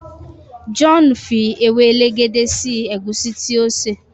John fí ewe elegede sí egusi tí o ṣe.